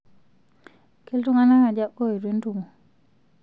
ketunganak aja oetuo entumo